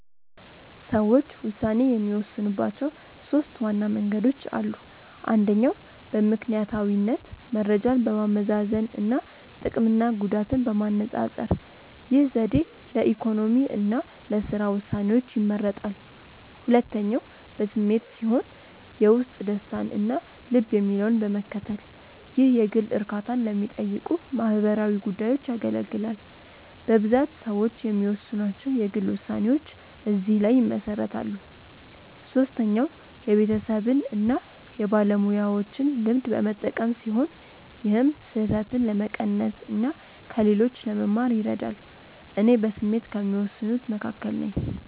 ሰዎች ውሳኔ የሚወስኑባቸው ሦስት ዋና መንገዶች አሉ። አንደኛው በምክንያታዊነት መረጃን በማመዛዘን እና ጥቅምና ጉዳትን በማነፃፀር። ይህ ዘዴ ለኢኮኖሚ እና ለሥራ ውሳኔዎች ይመረጣል። ሁለተኛው በስሜት ሲሆን የውስጥ ደስታን እና ልብ የሚለውን በመከተል። ይህ የግል እርካታን ለሚጠይቁ ማህበራዊ ጉዳዮች ያገለግላል። በብዛት ሰዎች የሚወስኗቸው የግል ውሳኔዎች እዚህ ላይ ይመሰረታሉ። ሶስተኛው የቤተሰብን እና የባለሙያዎችን ልምድ በመጠቀም ሲሆን ይህም ስህተትን ለመቀነስ እና ከሌሎች ለመማር ይረዳል። እኔ በስሜት ከሚወስኑት መካከል ነኝ።